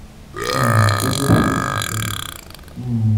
um Gẹ́gẹ́ bí ó ṣe sọ: um